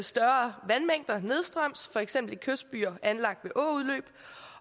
større vandmængder nedstrøms for eksempel i kystbyer anlagt ved åudløb